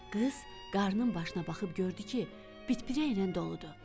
Qız qarnın başına baxıb gördü ki, bitpirəklə doludur.